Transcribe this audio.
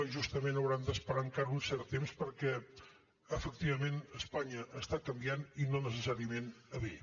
justament hauran d’esperar encara un cert temps perquè efectivament espanya està canviant i no necessàriament a bé